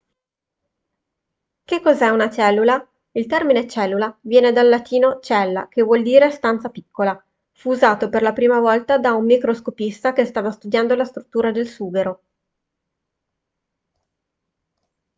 che cos'è una cellula il termine cellula viene dal latino cella che vuol dire stanza piccola fu usato per la prima volta da un microscopista che stava studiando la struttura del sughero